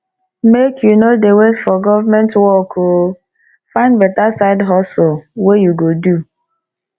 make you no dey wait for government work o find beta side hustle wey you go do